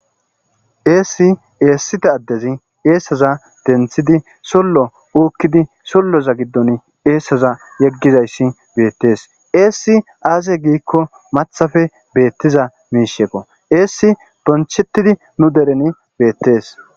Eesi eesiza adezi eesaza denthidi suuloza giddini eesaza yegizaysi beetes eesi aaze giiko maththappe beetiza miishshikko eesi bonchetidi ni deren beetes